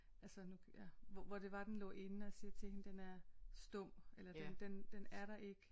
Altså nu ja hvor det var den lå inde og jeg siger til hende den er stum eller den den er der ikke